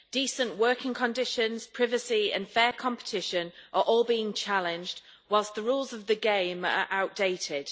Decent working conditions, privacy and fair competition are all being challenged whilst the rules of the game are outdated.